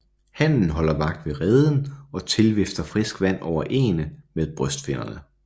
Hannen holder vagt ved reden og tilvifter frisk vand over æggene med brystfinnerne